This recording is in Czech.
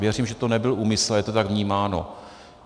Věřím, že to nebyl úmysl, ale je to tak vnímáno.